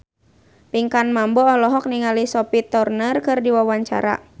Pinkan Mambo olohok ningali Sophie Turner keur diwawancara